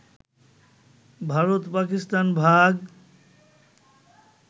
ভারত-পাকিস্তান ভাগ